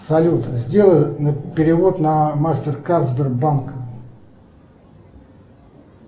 салют сделай перевод на мастер кард сбербанка